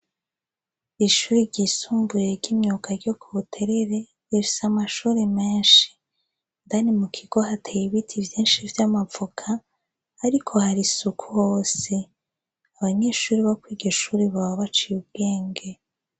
Ishure ryisumbuye ryimyuga ryo kubuterere rifise amashure menshi indani mukigo hateye ibiti vyinshi vy'amavoka ariko harisuku hose, abanyeshure bokuriryo shure boba baciye ubwenge.